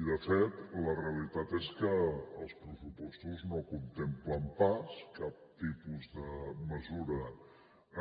i de fet la realitat és que els pressupostos no contemplen pas cap tipus de mesura